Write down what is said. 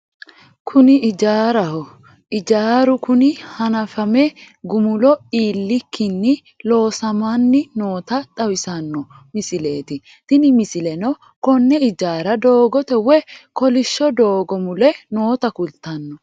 Kuni ijaaraho ijaaru kuni hanafame gumulo iillikkinni loosamanni noota xawissano misileeti tini misileno konne ijaara doogote woy kolishsho doogo mule noota kultanno.